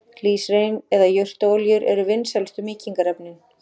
Glýserín eða jurtaolíur eru vinsælustu mýkingarefnin.